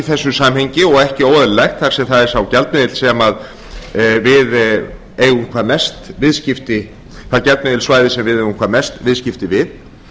þessu samhengi og ekki óeðlilegt sem er það efnahagssvæði sem við eigum hvað mest viðskipti við